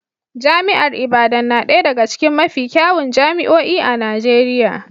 Jami'ar Ibadan na ɗaya daga cikin mafi kyawun jami'o'i a Najeriya